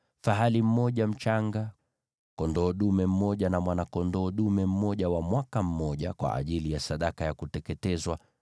fahali mmoja mchanga, kondoo dume mmoja na mwana-kondoo dume mmoja wa mwaka mmoja, kwa ajili ya sadaka ya kuteketezwa;